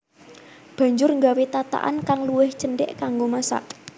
Banjur nggawé tatakan kang luwih cendhek kanggo masak